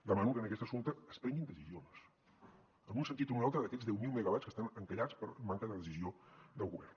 demano que en aquest assumpte es prenguin decisions en un sentit o en un altre d’aquests deu mil megawatts que estan encallats per manca de decisió del govern